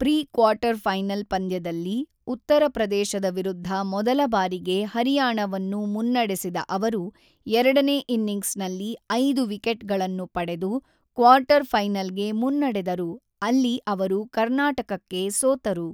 Pre quarter final ಪಂದ್ಯದಲ್ಲಿ, ಉತ್ತರ ಪ್ರದೇಶದ ವಿರುದ್ಧ ಮೊದಲ ಬಾರಿಗೆ ಹರಿಯಾಣವನ್ನು ಮುನ್ನಡೆಸಿದ ಅವರು ಎರಡನೇ ಇನ್ನಿಂಗ್ಸ್‌ನಲ್ಲಿ ಐದು ವಿಕೆಟ್‌ಗಳನ್ನು ಪಡೆದು ಕ್ವಾರ್ಟರ್‌ಫೈನಲ್‌ಗೆ ಮುನ್ನಡೆದರು, ಅಲ್ಲಿ ಅವರು ಕರ್ನಾಟಕಕ್ಕೆ ಸೋತರು.